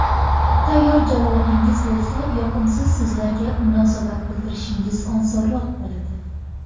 Tayyor javobingiz bo‘lsa, yoqimsiz so‘zlarga munosabat bildirishingiz osonroq bo‘ladi.